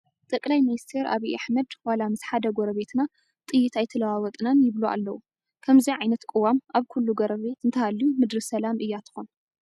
ጠቅላይ ሚኒስትር ኣብዪ ኣሕመድ ዋላ ምስ ሓደ ጐረቢትና ጥይት ኣይተለዋወጥና ይብሉ ኣለዉ፡፡ ከምዚ ዓይነት ቅዋም ኣብ ኩሉ ጎረቤት እንተሃልዩ ምድሪ ሰላም እያ ትኾን፡፡